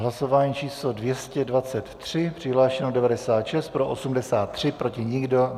Hlasování číslo 223, přihlášeno 96, pro 83, proti nikdo.